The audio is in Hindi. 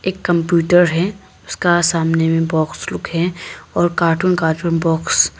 एक कंप्यूटर है उसका सामने में बाक्स लोग हैं और कार्टून कार्टून बाक्स ।